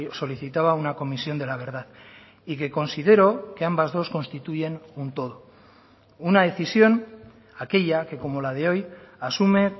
solicitaba una comisión de la verdad y que considero que ambas dos constituyen un todo una decisión aquella que como la de hoy asume